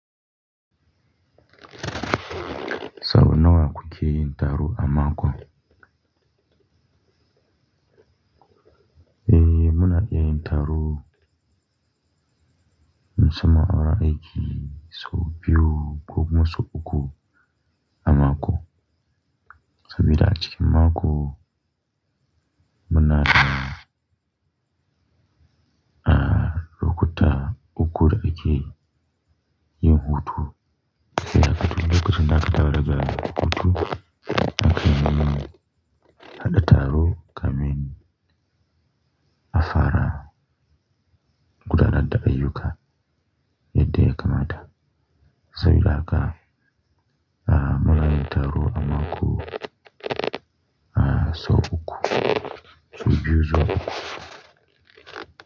Sau nawa ku ke yin taro a makon? Eh, muna iya yin taro musamman awurin aiki, sau biyu ko kuma sau uku a mako. Sabida a cikin mako muna, ah, lokuta uku da ake yin hutu. Sai haka tun lokacin da aka tara daga hutu, mukan yi haɗa taro kamin a fara gudanar da ayyuka yadda ya kamata. Sabida haka, ah, muna yin taro a mako, ah, sau uku, sau biyu zuwa uku.